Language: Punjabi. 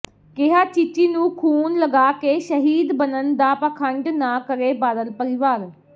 ਕਿਹਾ ਚੀਚੀ ਨੂੰ ਖੂਨ ਲਗਾ ਕੇ ਸ਼ਹੀਦ ਬਨਣ ਦਾ ਪਾਖੰਡ ਨਾ ਕਰੇ ਬਾਦਲ ਪਰਿਵਾਰ